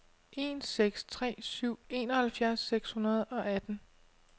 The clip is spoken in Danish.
en seks tre syv enoghalvfjerds seks hundrede og atten